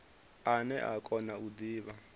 ane a kona u divha